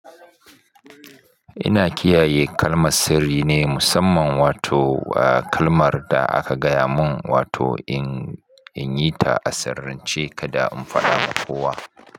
Ina kiyaye kalma sirri ne musamman wato kalmar da aka gaya mun wato in yi ta a sarance kada in faɗa wa kowa.